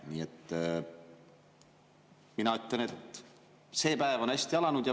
Nii et mina ütlen, et see päev on hästi alanud.